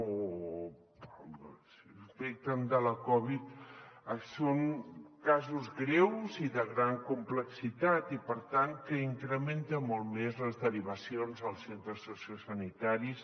o s’infecten de la covid són casos greus i de gran complexitat i per tant que incrementen molt més les derivacions als centres sociosanitaris